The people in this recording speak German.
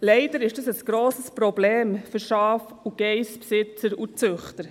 Leider ist das ein grosses Problem für Schaf- und Geissbesitzer und -züchter.